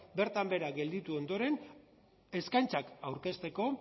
bertan behera gelditu ondoren eskaintzak aurkezteko